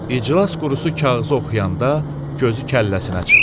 İclas qurusu kağızı oxuyanda gözü kəlləsinə çıxdı.